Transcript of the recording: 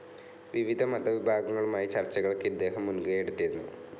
വിവിധ മത വിഭാഗങ്ങളുമായി ചർച്ചകൾക്ക് ഇദ്ദേഹം മുൻകൈ എടുത്തിരുന്നു.